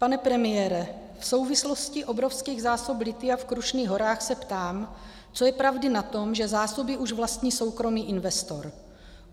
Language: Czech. Pane premiére, v souvislosti obrovských zásob lithia v Krušných horách se ptám, co je pravdy na tom, že zásoby už vlastní soukromý investor.